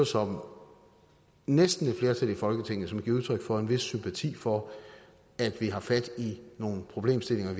som næsten et flertal i folketinget som giver udtryk for en vis sympati for at vi har fat i nogle problemstillinger og